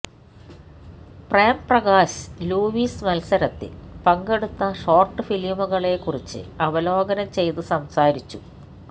Prem Prakash Lewis മത്സരത്തിൽ പങ്കെടുത്ത short ഫിലിമുകളെക്കുറിച്ച് അവലോകനം ചെയ്ത് സംസാരിച്ചു